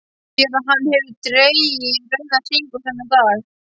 Sér að hann hefur dregið rauðan hring um þennan dag.